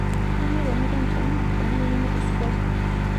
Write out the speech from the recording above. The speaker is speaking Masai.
Kainyoo pee miton tiang' tenimining'ito esidai?